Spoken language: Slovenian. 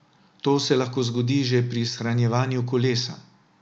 To se lahko zgodi že pri shranjevanju kolesa.